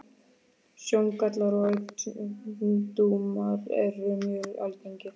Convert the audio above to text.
Sjóngallar og augnsjúkdómar eru mjög algengir.